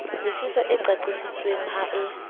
lefiswa e qaqisitsweng ha e